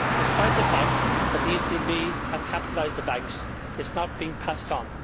Despite the fact that the ECB has capitalised the banks, it is not being passed on.